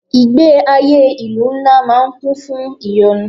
Ìgbé ayé ìlú ńlá máa ń kún fún ìyọnu.